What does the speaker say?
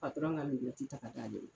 Patɔrɔn ka nin bɛɛ ti ta ka t'a bɔlɔ